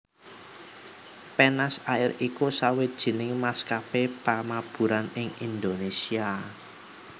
Penas Air iku sawijining maskapé pamaburan ing Indonésia